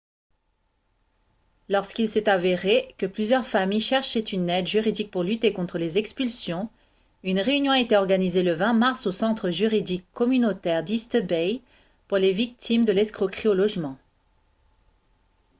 lorsqu'il s'est avéré que plusieurs familles cherchaient une aide juridique pour lutter contre les expulsions une réunion a été organisée le 20 mars au centre juridique communautaire d'east bay pour les victimes de l'escroquerie au logement